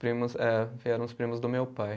Primos, é vieram os primos do meu pai.